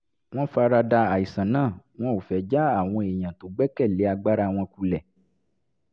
wọ́n farada àìsàn náà wọn ò fẹ́ já àwọn èèyàn tó gbẹ́kẹ̀ lé agbára wọn kulẹ̀